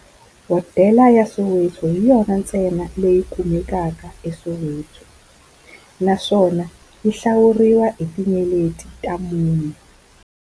Hodela ya Soweto hi yona ntsena leyi kumekaka eSoweto, naswona yi hlawuriwa hi tinyeleti ta mune.